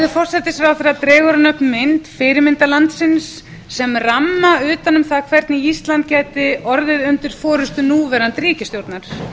forsætisráðherra dregur hann upp mynd fyrirmyndarlandsins sem ramma utan það hvernig ísland gæti orðið undir forustu núverandi ríkisstjórnar